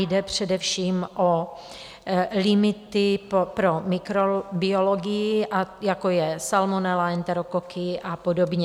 Jde především o limity pro mikrobiologii, jako je salmonela, enterokoky a podobně.